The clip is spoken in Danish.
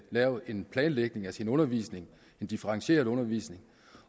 lave en planlægning af sin undervisning en differentieret undervisning